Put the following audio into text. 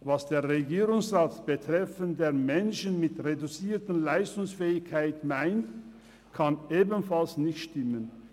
Was der Regierungsrat betreffend Menschen mit reduzierter Leistungsfähigkeit meint, kann ebenfalls nicht stimmen.